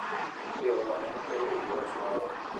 Tero lamo makende e wi wach moro,